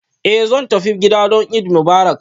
Eh zan tafi gida don Eid Mubarak